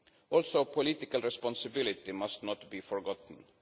Also, political responsibility must not be forgotten.